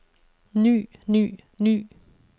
ny ny ny